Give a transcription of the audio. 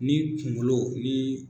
Ni kunkolo ni.